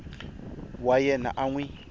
wa yena a n wi